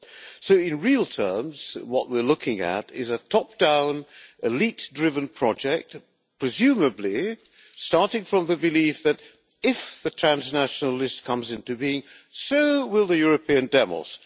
So, in real terms, what we are looking at is a top-down, elite-driven project, presumably starting from the belief that, if the transnational list comes into being, so will the European demos.